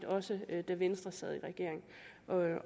også da venstre sad i regering